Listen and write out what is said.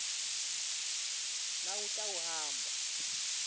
nawutawuhamba